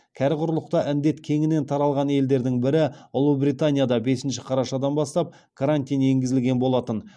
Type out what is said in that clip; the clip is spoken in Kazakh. кәрі құрлықта індет кеңінен таралған елдердің бірі ұлыбританияда бесінші қарашадан бастап карантин енгізілген болатын